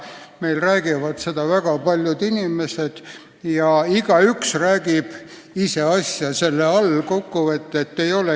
Meil räägivad sellest väga paljud inimesed ja igaüks peab selle all silmas ise asja.